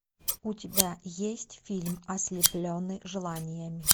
у тебя есть фильм ослепленный желаниями